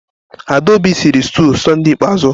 Adaobi sịrị stuụ Sọnde ikpeazụ.